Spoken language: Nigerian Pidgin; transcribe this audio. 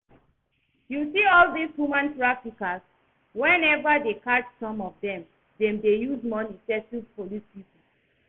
You see all dis human traffickers, whenever dem catch some of dem, dem dey use money settle police people